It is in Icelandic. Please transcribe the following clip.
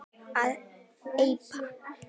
að eipa